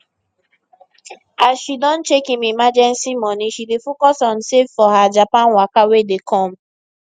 as she don check im emergency money she dey focus on save for her japan waka wey dey come